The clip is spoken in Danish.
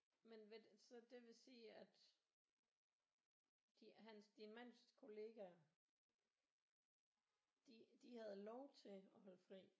Men vil så det vil sige at de han din mands kollegaer de de havde lov til at holde fri